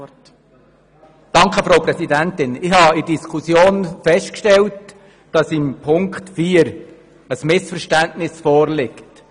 Ich habe in der Diskussion festgestellt, dass zu Auflage 4 ein Missverständnis vorliegt.